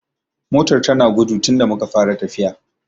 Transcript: Motar ta na gudu tunda muka fara tafiya